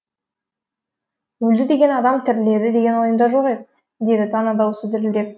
өлді деген адам тіріледі деген ойымда жоқ еді деді тана дауысы дірілдеп